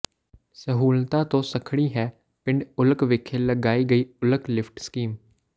ਸਹੂਲਤਾਂ ਤੋਂ ਸੱਖਣੀ ਹੈ ਪਿੰਡ ਉੱਲਕ ਵਿਖੇ ਲਗਾਈ ਗਈ ਉੱਲਕ ਲਿਫ਼ਟ ਸਕੀਮ